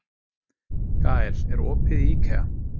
Gael, er opið í IKEA?